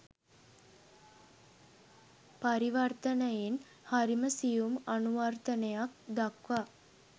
පරිවර්තනයෙන් හරිම සියුම් අනුවර්තනයක් දක්වා